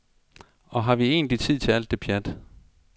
Og har vi egentlig tid til alt det pjat?